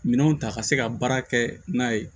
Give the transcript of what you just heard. Minɛnw ta ka se ka baara kɛ n'a ye